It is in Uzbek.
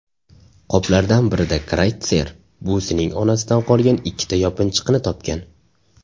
Qoplardan birida Krayttser buvisining onasidan qolgan ikkita yopinchiqni topgan.